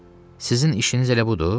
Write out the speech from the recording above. Sizin işiniz elə budur?